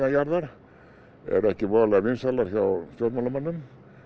neðanjarðar eru ekki voðalega vinsælar hjá stjórnmálamönnum